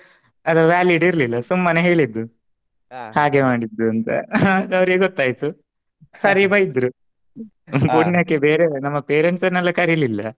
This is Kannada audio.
ಅದು valid ಇರ್ಲಿಲ್ಲ ಸುಮ್ಮನೆ ಹೇಳಿದ್ದು ಹಾಗೆ ಮಾಡಿದ್ದು ಅಂತಾ ಆಗ ಅವರಿಗೆ ಗೊತ್ತಾಯ್ತು ಸರಿ ಬೈದ್ರು ಪುಣ್ಯಕೆ ಬೇರೆಯವ್ರು ನಮ್ಮ parents ನೆಲ್ಲ ಕರಿಲಿಲ್ಲ.